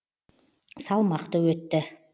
салмақты өтті